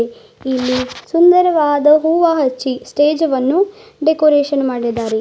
ಇಲ್ಲಿ ಸುಂದರವಾದ ಹೂವ ಹಚ್ಚಿ ಸ್ಟೇಜ್ ಅನ್ನು ಡೆಕೋರೇಷನ್ ಮಾಡಿದ್ದಾರೆ.